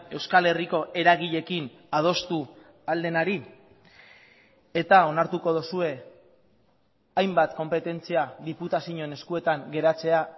euskal herriko eragileekin adostu ahal denari eta onartuko duzue hainbat konpetentzia diputazioen eskuetan geratzea